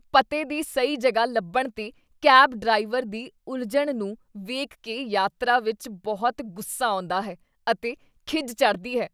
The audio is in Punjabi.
ਪਤੇ ਦੀ ਸਹੀ ਜਗ੍ਹਾ ਲੱਭਣ 'ਤੇ ਕੈਬ ਡਰਾਈਵਰ ਦੀ ਉਲਝਣ ਨੂੰ ਵੇਖ ਕੇ ਯਾਤਰਾ ਵਿੱਚ ਬਹੁਤ ਗੁੱਸਾ ਆਉਂਦਾ ਹੈ ਅਤੇ ਖਿਝ ਚੜ੍ਹਦੀ ਹੈ।